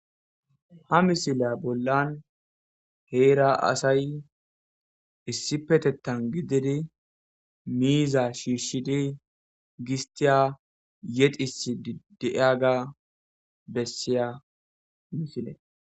ha misiliya bollan heera asay issipetettan gididi miiza shiishidi gistiya yedis ideiyaga bessiya misile